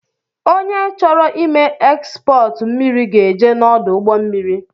Onye chọrọ ime ekspọọtu mmiri ga-eje n’ọdụ ụgbọ mmiri